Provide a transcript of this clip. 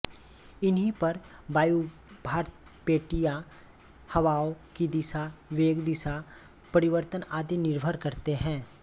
इन्हीं पर वायुभारपेटियाँ हवाओं की दिशा वेग दिशा परिवर्तन आदि निर्भर करते हैं